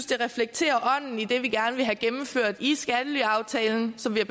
det reflekterer ånden i det vi gerne vil have gennemført i skattelyaftalen som vi er